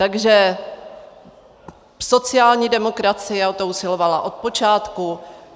Takže sociální demokracie o to usilovala od počátku.